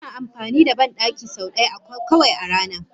Ina amfani da bandaki sau ɗaya kawai a rana.